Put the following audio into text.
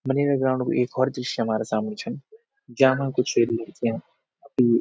Manera ground कु एक होर दृश्य हमारा सामणी छन ज्यामा कुछ लड़कियां अपणि --